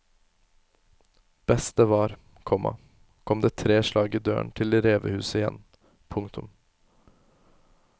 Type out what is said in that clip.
Best det var, komma kom det tre slag i døren til revehuset igjen. punktum